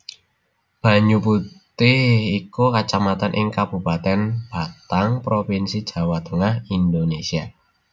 Banyuputih iku kacamatan ing Kabupatèn Batang Provinsi Jawa Tengah Indonésia